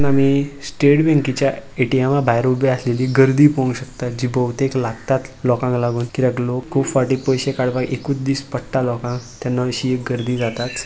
आम्हि स्टेट बॅंकेच्या ए_टी_एमा भायर उभे आसलेलि गर्दी पळोन्क शकता जि भोवतेक लागतात लोकांक लागोन किद्याक लोक फाटी पैशे काडपाक एकुत दिस पडटा लोकांक तेन्ना अशी एक गर्दी जाता.